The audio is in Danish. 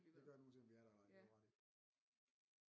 Det gør den uanset om vi er der eller ej det har du ret i